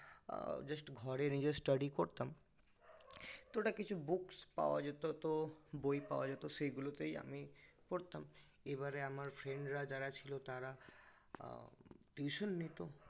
আহ just ঘরে নিজের study করতাম তো ওটা কিছু books পাওয়া যেত তো বই পাওয়া যেত সেগুলোতেই আমি পড়তাম এবারে আমার friend রা যারা ছিল তারা tuition নিত